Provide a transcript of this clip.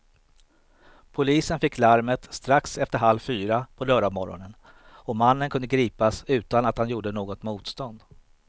Polisen fick larmet strax efter halv fyra på lördagsmorgonen och mannen kunde gripas utan att han gjorde något motstånd.